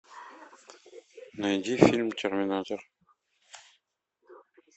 найди фильм терминатор